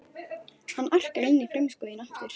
Hann arkar inn í frumskóginn aftur.